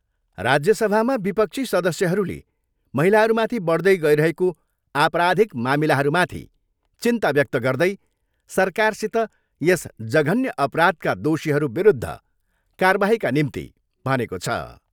राज्यसभामा विपक्षी सदस्यहरूले महिलाहरूमाथि बढदै गइरहेको आपराधिक मामिलाहरूमाथि चिन्ता व्यक्त गर्दै सरकारसित यस जघन्य अपराधका दोषीहरूविरूद्ध कारबाहीका निम्ति भनेको छ।